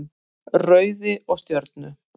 Rauði og Stjörnu.